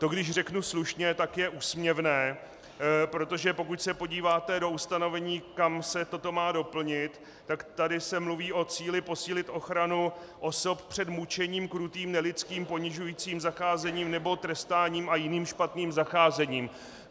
To, když řeknu slušně, tak je úsměvné, protože pokud se podíváte do ustanovení, kam se toto má doplnit, tak tady se mluví o cíli posílit ochranu osob před mučením, krutým nelidským ponižujícím zacházením nebo trestáním a jiným špatným zacházením.